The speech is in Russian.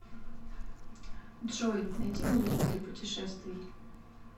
джой найди музыку для путешествий